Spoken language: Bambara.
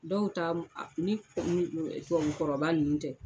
Dɔw taa mu a ni kɔrɔba nun tɛ.